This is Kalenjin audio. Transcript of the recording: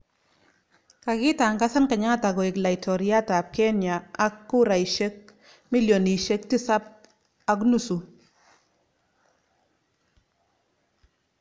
Kakitangazan Kenyatta koik Laitoriat ap. Kenua ak kurainik 7.5M